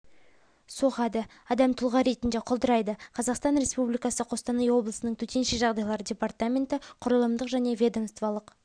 соғады адам тұлға ретінде құлдырайды қазақстан республикасы қостанай облысының төтенше жағдайлар департаменті құрылымдық және ведомстволық